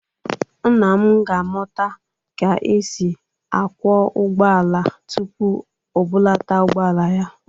Nna m ga-amụta ka e si akwọ ụgbọala tupu o bụlata ụgbọala ya.